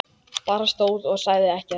Bara stóð og sagði ekkert.